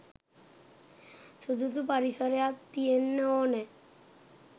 සුදුසු පරිසරයක් තියෙන්න ඕන.